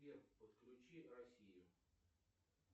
сбер подключи россию